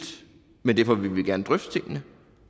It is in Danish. men derfor vil vi gerne drøfte tingene